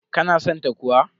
Ka na san ta kuwa?